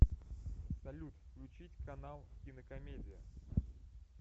салют включить канал кинокомедия